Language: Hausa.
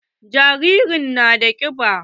Jaririn nan yana da kiɓa.